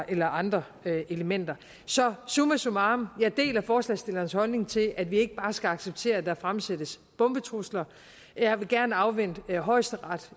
eller andre elementer så summa summarum jeg deler forslagsstillernes holdning til at vi ikke bare skal acceptere at der fremsættes bombetrusler jeg vil gerne afvente højesterets